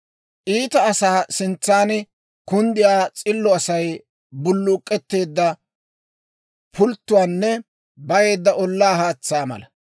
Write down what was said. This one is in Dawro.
Iita asaa sintsaan kunddiyaa s'illo Asay bulluk'k'eteedda pulttuwaanne bayeedda ollaa haatsaa mala.